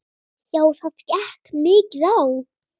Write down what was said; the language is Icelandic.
Já það gekk mikið á.